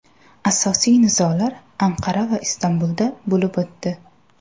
Asosiy nizolar Anqara va Istanbulda bo‘lib o‘tdi.